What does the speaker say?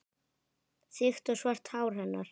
Þykkt og svart hár hennar.